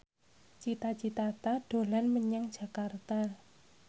Cita Citata dolan menyang Jakarta